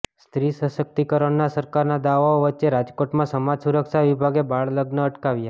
સ્ત્રી સશક્તિકરણના સરકારના દાવાઓ વચ્ચે રાજકોટમાં સમાજ સુરક્ષા વિભાગે બાળલગ્ન અટકાવ્યા